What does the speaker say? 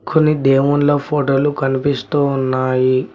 కొన్ని దేవున్ల ఫోటోలు కనిపిస్తూ ఉన్నాయి.